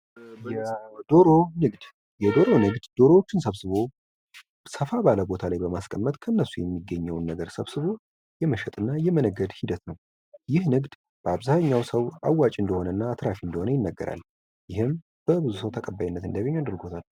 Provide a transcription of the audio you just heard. የዶሮ ንግድ የዶሮ ንግድ ዶሮዎችን ሰብስቦ ሰፋ ባለ ቦታ ላይ በማስቀመጥ ከእነሱ የሚገኘውን ነገር ሰብስቦ የመሸጥና የመነገድ ሂደት ነው ይህ ንግድ በአብዛኛው ሰው አዋጭ እንደሆነና አትራፊ እንደሆነ ይነገራል:: ይህም ብዙ ሰው ተቀባይነት እንዲያገኝ አድርጎታል ::